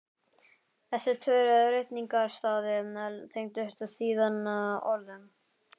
Þessir tveir ritningarstaðir tengdust síðan orðum